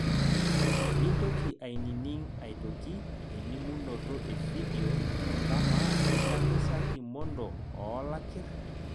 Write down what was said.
Mintoki aininig' aitoki elimunoto efidio kamaa idamu sa Kimondo oo lakir?